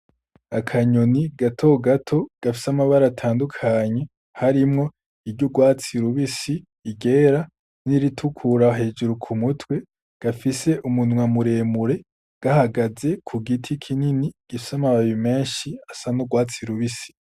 Akanyoni gato gato gafise amabara atandukanye harimwo iry'urwatsi rubisi, iryera, n'iritukura hejuru ku mutwe, gafise umunwa muremure gahagaze ku giti kinini gifise amababi menshi asa n'urwatsi rubisi.